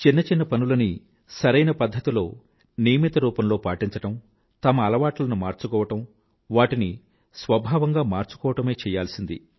చిన్న చిన్న పనులని సరైన పధ్ధతిలో నియమిత రూపంలో పాటించడం తమ అలవాట్లను మార్చుకోవడం వాటిని స్వభావంగా మార్చుకోవడమే చెయ్యాల్సినది